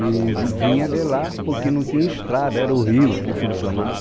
E vinha de lá porque não tinha estrada, era o rio que funcionava.